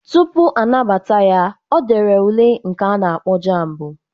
Tupu anabata ya, o dere ule nke a na-akpọ JAMB.